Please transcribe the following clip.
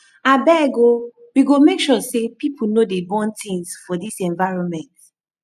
abeg o we go make sure sey pipo no dey burn tins for dis environment